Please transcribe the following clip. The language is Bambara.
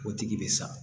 O tigi bɛ sa